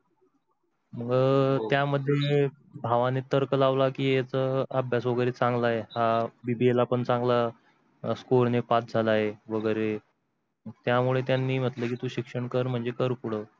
म त्या मध्ये मी भावानी तर्क लावला की यांचा अभ्यास तर चांगला आहे हा BBA ला पण चांगल्या score ने pass झाला आहे वेगेरे, तर त्या मुळे त्यांनी म्हटल की तू शिक्षण शिक्षण कर पुढ